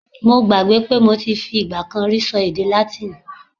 Mo gbàgbé pé mo ti fi ìgbà kan rí ṣọ èdè Látíìnì.